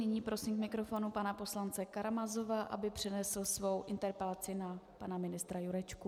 Nyní prosím k mikrofonu pana poslance Karamazova, aby přednesl svou interpelaci na pana ministra Jurečku.